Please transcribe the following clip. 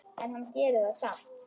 En hann gerir það samt.